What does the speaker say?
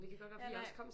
Ja nej